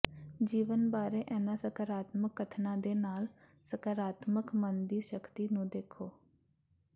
ਜੀਵਨ ਬਾਰੇ ਇਨ੍ਹਾਂ ਸਕਾਰਾਤਮਕ ਕਥਨਾਂ ਦੇ ਨਾਲ ਸਕਾਰਾਤਮਕ ਮਨ ਦੀ ਸ਼ਕਤੀ ਨੂੰ ਦੇਖੋ